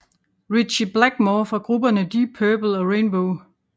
Ritchie Blackmore fra grupperne Deep Purple og Rainbow